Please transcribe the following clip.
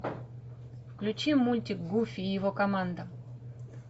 включи мультик гуфи и его команда